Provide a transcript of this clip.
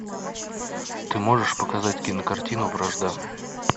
ты можешь показать кинокартину вражда